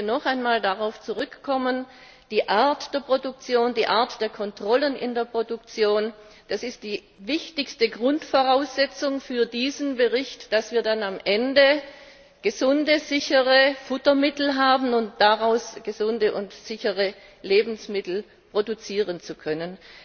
Ich möchte noch einmal darauf zurückkommen Die Art der Produktion, die Art der Kontrollen in der Produktion, das ist die wichtigste Grundvoraussetzung für diesen Bericht, damit wir dann am Ende gesunde, sichere Futtermittel haben, um daraus gesunde und sichere Lebensmittel produzieren zu können.